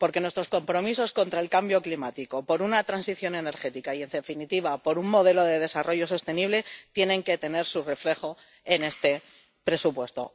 Porque nuestros compromisos contra el cambio climático, a favor de una transición energética y, en definitiva, a favor de un modelo de desarrollo sostenible tienen que tener su reflejo en este presupuesto.